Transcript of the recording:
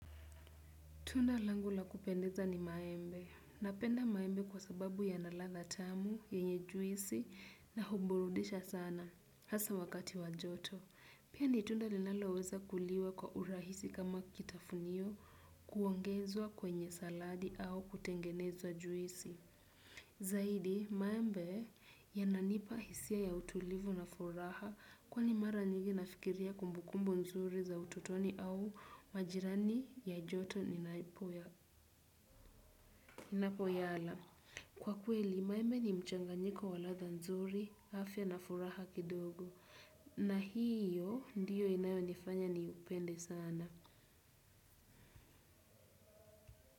Tunda langu la kupendeza ni maembe. Napenda maembe kwa sababu yana ladha tamu, yenye juisi, na huburudisha sana. Hasa wakati wa joto. Pia ni tunda linaloweza kuliwa kwa urahisi kama kitafunio kuongezwa kwenye saladi au kutengeneza juisi zaidi, maembe yananipa hisia ya utulivu na furaha kwani mara nyingi nafikiria kumbukumbu nzuri za utotoni au majirani ya joto ninapoyala kwa kweli, maembe ni mchanganyiko wa ladha nzuri, afya na furaha kidogo na hiyo ndiyo inayonifanya niupende sana.